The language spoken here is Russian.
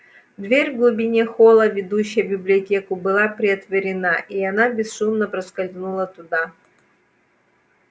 дверь в глубине холла ведущая в библиотеку была приотворена и она бесшумно проскользнула туда